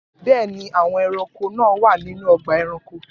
Bẹ́ẹ̀ ni, àwọn ẹranko náà wà nínú ọgbà ẹranko.